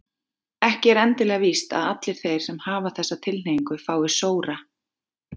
Ekki er endilega víst að allir þeir sem hafa þessa tilhneigingu fái sóra.